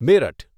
Meerut